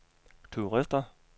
turister